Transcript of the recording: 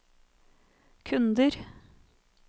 kunder